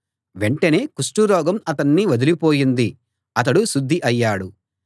వెంటనే కుష్టురోగం అతన్ని వదలిపోయింది అతడు శుద్ధి అయ్యాడు